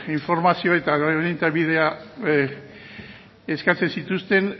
informazio eta orientabidea eskatzen zituzten